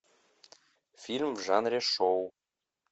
фильм в жанре шоу